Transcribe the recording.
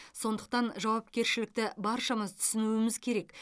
сондықтан жауапкершілікті баршамыз түсінуіміз керек